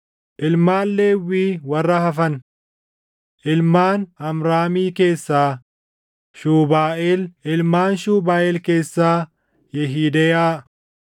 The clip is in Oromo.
Ilmaan Lewwii warra hafan: Ilmaan Amraamii keessaa: Shuubaaʼeel; ilmaan Shuubaaʼeel keessaa: Yehideyaa.